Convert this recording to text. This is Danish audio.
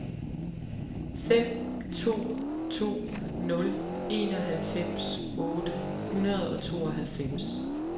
fem to to nul enoghalvfems otte hundrede og tooghalvfems